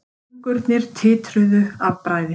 Fingurnir titruðu af bræði.